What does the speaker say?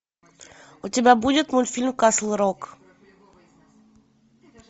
у тебя будет мультфильм касл рок